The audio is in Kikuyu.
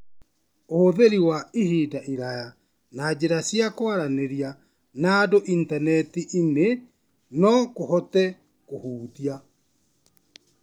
Ũhũthĩri wa ihinda iraya na njĩra cia kwaranĩria na andũ intaneti-inĩ no kũhote kũhutia